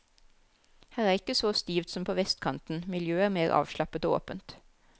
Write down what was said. Her er ikke så stivt som på vestkanten, miljøet er mer avslappet og åpent.